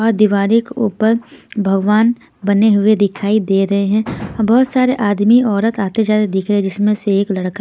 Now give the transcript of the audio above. और दीवारी के ऊपर भगवान बने हुए दिखाई दे रहे हैं और बहुत सारे आदमी औरत आते जाते दिख रहे हैं जिसमें से एक लड़का--